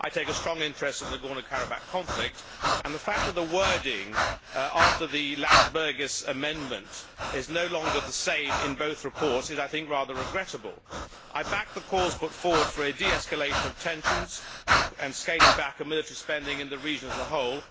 I take a strong interest in the Nagorno Karabakh conflict, and the fact that the wording, following the Landsbergis amendment, is no longer the same in both reports is, I think, rather regrettable. I back the calls put forward for the de escalation of tensions and the scaling back of military spending in the region as a whole.